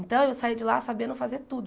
Então eu saí de lá sabendo fazer tudo.